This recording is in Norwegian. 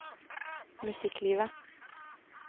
musikklivet